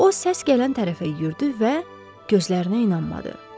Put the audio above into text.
O səs gələn tərəfə yürüdü və gözlərinə inanmadı.